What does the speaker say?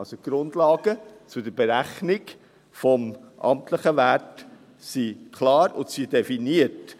Die Grundlagen für die Berechnung des amtlichen Werts sind also klar definiert.